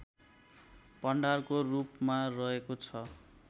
भण्डारको रूपमा रहेको छ